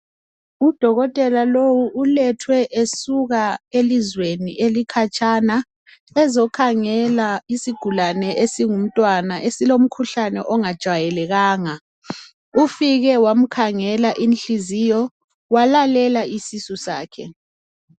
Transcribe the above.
Udokotela lowu ulethwe esuka elizweni elikhatshana ezokhangela isigulane esingumntwana esilomkhuhlane ongajwayelekanga ufike wamkhangela inhliziyo walalela isisu sakhe.